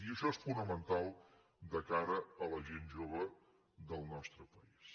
i això és fonamental de cara a la gent jove del nostre país